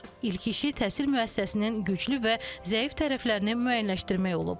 İlk işi təhsil müəssisəsinin güclü və zəif tərəflərini müəyyənləşdirmək olub.